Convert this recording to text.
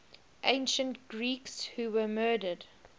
ancient greeks who were murdered